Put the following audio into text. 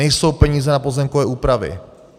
Nejsou peníze na pozemkové úpravy.